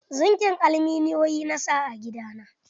Zingi aluminiyon na sa a gida na.